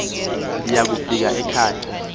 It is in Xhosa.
ndiya kufika ekhaya